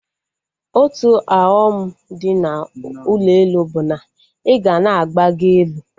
Otu ọghọm dị na ụlọ elu bụ na ịga na-agbago elu